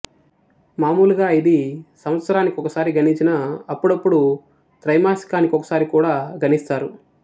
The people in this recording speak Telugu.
మామూలుగా ఇది సంవత్సరానికొకసారి గణించినా అప్పుడప్పుడు త్రైమాసికానికోసరి కూడా గణిస్తారు